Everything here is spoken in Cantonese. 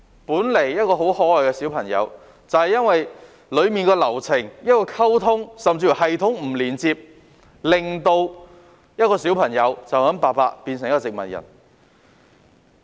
本來一個很可愛的小朋友，就是因為流程中的溝通甚至系統不連接，白白令到一個小朋友變成植物人。